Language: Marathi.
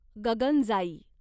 गगनजाई